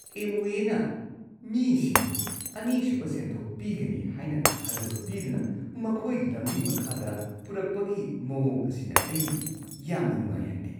ꯑꯦꯝꯋꯦꯅ ꯃꯤꯁꯤꯡꯕꯨ ꯑꯅꯤꯁꯨꯕ ꯁꯦꯟꯊꯣꯛ ꯄꯤꯒꯅꯤ ꯍꯥꯏꯅ ꯊꯥꯖꯕ ꯄꯤꯗꯨꯅ ꯃꯈꯣꯏꯒꯤ ꯂꯝꯖꯤꯡ ꯃꯈꯥꯗ ꯄꯨꯔꯛꯄꯒꯤ ꯃꯑꯣꯡ ꯑꯁꯤꯅ ꯑꯩ ꯌꯥꯝꯅ ꯅꯨꯡꯉꯥꯏꯍꯟꯗꯦ꯫